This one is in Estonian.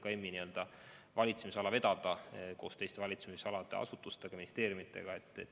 See on MKM-i valitsemisala vedada koos teiste valitsemisalade asutustega, ministeeriumidega.